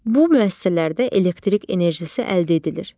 Bu müəssisələrdə elektrik enerjisi əldə edilir.